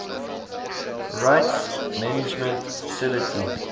rights management facility